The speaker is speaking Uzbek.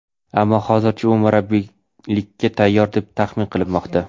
ammo hozircha u murabbiylikka tayyor deb taxmin qilinmoqda.